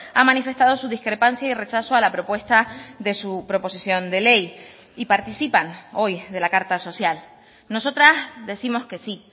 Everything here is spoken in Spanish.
ha manifestado su discrepancia y rechazo a la propuesta de su proposición de ley y participan hoy de la carta social nosotras décimos que sí